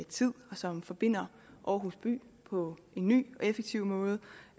tid og som forbinder aarhus by på en ny og effektiv måde